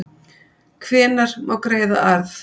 Hvenær má greiða arð?